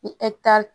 Ni